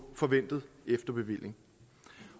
forventet efterbevilling